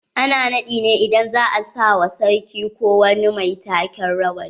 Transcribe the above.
Ana naɗi ne idan za'a sa wa sarki ko wani mai take rawani.